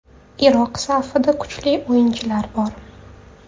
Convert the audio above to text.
Iroq safida kuchli o‘yinchilar bor.